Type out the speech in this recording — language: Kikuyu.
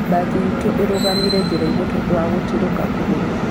Mbathi itũ ĩrugamire njĩrainĩ tondũ wa gũtũrĩka kũgũrũ.